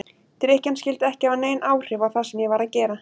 Drykkjan skyldi ekki hafa nein áhrif á það sem ég var að gera.